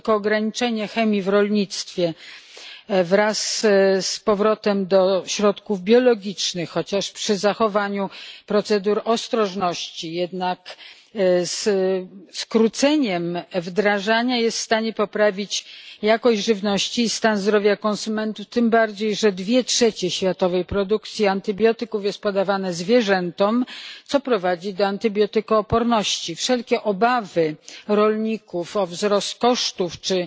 Tylko ograniczenie chemii w rolnictwie wraz z powrotem do środków biologicznych przy zachowaniu procedury ostrożności i jednocześnie skróceniem wdrażania jest w stanie poprawić jakość żywności i stan zdrowia konsumentów, tym bardziej że dwie trzecie światowej produkcji antybiotyków jest podawane zwierzętom, co prowadzi do antybiotykooporności. Wszelkie obawy rolników o wzrost kosztów czy